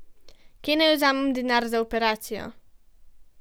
Kje naj vzamem denar za operacijo?